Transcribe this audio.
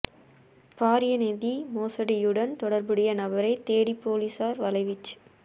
பாரிய நிதி மோசடியுடன் தொடர்புடைய நபரைத் தேடி பொலிஸார் வலைவீச்சு